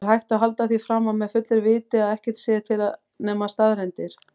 Er hægt að halda því fram með fullu viti að ekkert sé til nema staðreyndir?